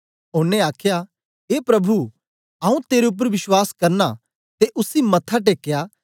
ओनें आखया ए प्रभु आऊँ तेरे उपर विश्वास करना ते उसी मत्था टेकया